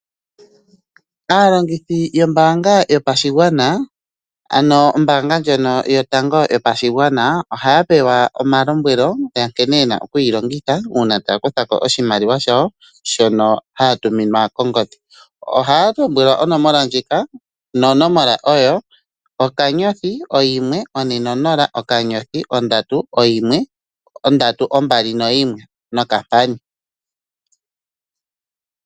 Aalongithi yombaanga yopashigwana, ano ombaanga ndjono yotango yopashigwana ohaya pewa omalombwelo gankene yena okuyi longitha uuna taya kuthako oshimaliwa shawo shono ya tuminwa kongodhi. Ohaya longitha onomola ndjoka nonomola oyo *140* 321#.